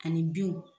Ani binw